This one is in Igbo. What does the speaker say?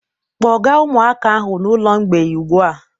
Kpọga ụmụaka ahụ n'ụlọ mgbei ugbu a!